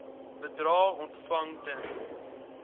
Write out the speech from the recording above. bedrae ontvang ten